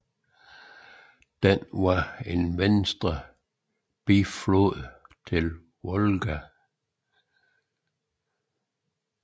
Den er en venstre biflod til Volga